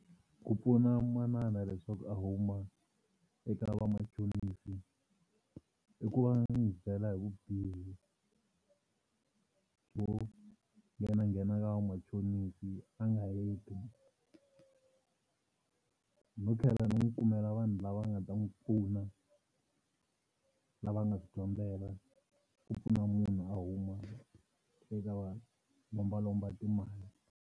Ku pfuna manana leswaku a huma eka vamachonisi i ku va ni n'wi byela hi vubihi byo nghenanghena ka vamachonisi a nga heti no tlhela ni n'wi kumela vanhu lava nga ta n'wi pfuna lava nga swi dyondzela ku pfuna munhu a huma eka valombalomba timali.